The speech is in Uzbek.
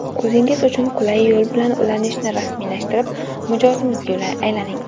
O‘zingiz uchun qulay yo‘l bilan ulanishni rasmiylashtirib, mijozimizga aylaning.